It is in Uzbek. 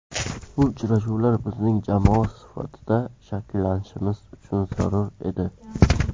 Bu uchrashuvlar bizning jamoa sifatida shakllanishimiz uchun zarur edi.